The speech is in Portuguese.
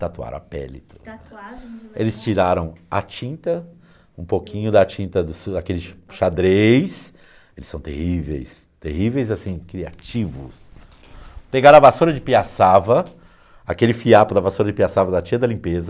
tatuar a pele eles tiraram a tinta um pouquinho da tinta dos aqueles xadrez eles são terríveis terríveis assim criativos pegar a vassoura de piaçava aquele fiapo da vassoura de piaçava da tia da limpeza